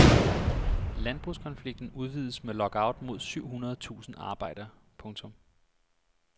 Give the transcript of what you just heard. Landbrugskonflikten udvides med lockout mod syv hundrede tusinde arbejdere. punktum